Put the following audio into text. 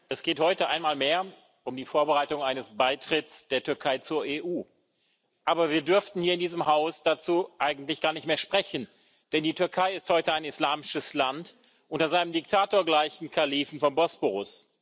Herr Präsident! Es geht heute einmal mehr um die Vorbereitung eines Beitritts der Türkei zur EU. Aber wir dürften hier in diesem Haus dazu eigentlich gar nicht mehr sprechen, denn die Türkei ist heute ein islamisches Land unter seinem diktatorgleichen Kalifen vom Bosporus.